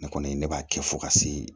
Ne kɔni ne b'a kɛ fo ka se